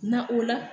Na o la